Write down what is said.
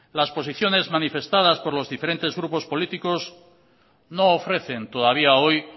las posiciones manifestadas por los diferentes grupos políticos no ofrecen todavía hoy